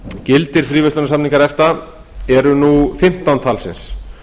gildir fríverslunarsamningar efta eru nú fimmtán talsins